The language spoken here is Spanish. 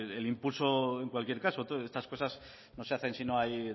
el impulso en cualquier caso estas cosas no se hacen si no hay